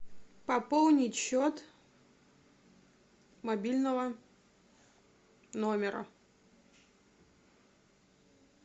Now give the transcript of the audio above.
пополнить счет мобильного номера